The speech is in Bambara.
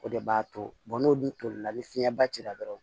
O de b'a to n'o dun toli la ni fiɲɛba cira dɔrɔn